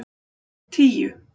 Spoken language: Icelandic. tíu